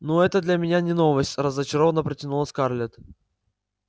ну это для меня не новость разочарованно протянула скарлетт